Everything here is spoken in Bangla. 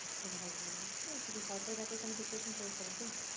তো ভালোই হয়েছে সরকারি চাকরির কোন preparation চলছে নাকি?